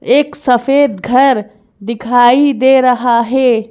एक सफेद घरदिखाई दे रहा है।